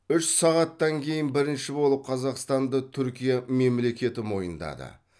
үш сағаттан кейін бірінші болып қазақстанды түркия мемлекеті мойындады